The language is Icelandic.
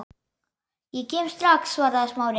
Ég kem strax- svaraði Smári.